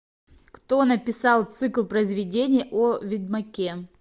кто написал цикл произведений о ведьмаке